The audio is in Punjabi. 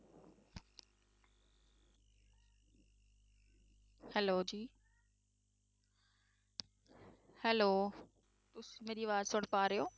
Hello ਜੀ Hello ਤੁਸੀਂ ਮੇਰੀ ਆਵਾਜ਼ ਸੁਣ ਪਾ ਰਹੇ ਹੋ?